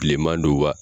Bilenman don wa